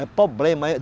É problema.